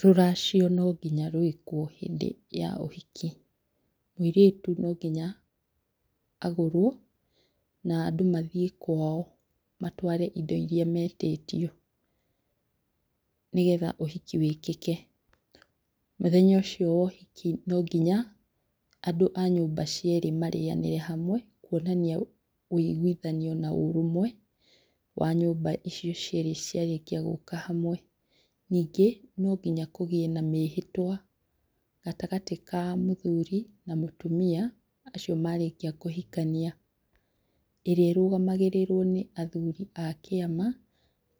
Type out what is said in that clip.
Rũracio no nginya rwĩkwo hĩndĩ ya ũhiki, mũirĩtu no nginya agũrwo na andũ mathiĩ kwao matware indo iria metĩtio nĩgetha ũhiki wĩkĩke. Mũthenya ũcio wa ũhiki no nginya andũ a nyũmba cierĩ marĩyanĩre hamwe kuonania ũigwithanio na ũrũmwe wa nyũmba icio cierĩ cĩarĩkia gũka hamwe. Ningĩ no nginya kũgĩe na mĩhĩtwa gatagatĩ ka mũthũri na mũtumia acio marĩkia kũhikania ĩrĩa ĩrũgamagĩrĩrwo nĩ athũri a kĩama